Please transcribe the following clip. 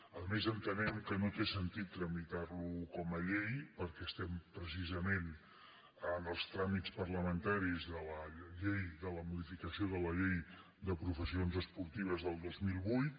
a més entenem que no té sentit tramitar·lo com a llei per·què estem precisament en els tràmits parlamentaris de la modificació de la llei de professions esportives del dos mil vuit